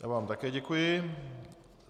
Já vám také děkuji.